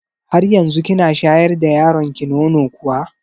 Har yanzu kina shayar da yaronki nono kuwa?